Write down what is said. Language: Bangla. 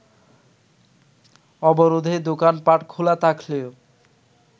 অবরোধে দোকানপাট খোলা থাকলেও